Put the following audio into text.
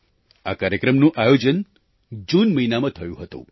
આ કાર્યક્રમનું આયોજન જૂન મહિનામાં થયું હતું